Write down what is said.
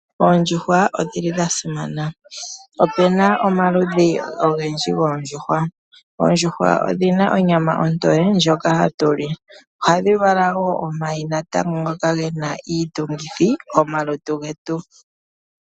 Oondjuhwa odhili dhasima, opena omaludhi ogendji goondjuhwa noondjuhwa odhina onyama ontoye ndhoka hatu li. Oondjuhwa ohadhi vala omayi ngoka hatu li no gena iitungithi oyindji yolutu.